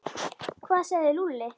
Hvað sagði Lúlli?